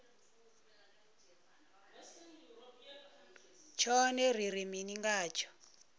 tshone ri ri mini ngatsho